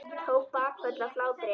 Tók bakföll af hlátri.